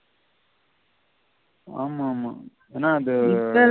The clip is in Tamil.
ஆமாமா ஏன்னா அந்த